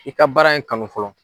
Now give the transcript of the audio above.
I ka baara in kanu fɔlɔ.